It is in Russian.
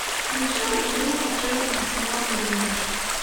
включи игру апл арсенал и ливер